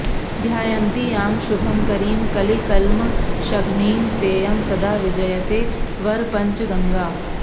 ध्यायन्ति यां शुभकरीं कलिकल्मषघ्नीं सेयं सदा विजयते वरपञ्चगङ्गा